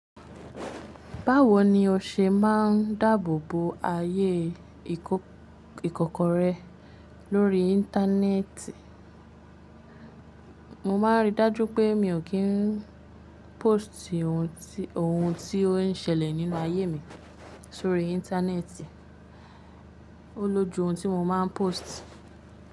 Báwo ni o ṣe máà ń dáàbò bo ayé ìkòkò rẹ lórí íńtánẹ́ẹ̀tì? Mo máa ń rí i dájú pé mi ò kí ń póstì ohun tí ó ń ṣẹlẹ̀ nínú ayé mi sórí íńtánẹ́ẹ̀tì. Ó lójú ohun tí mo máa ń pósìtì.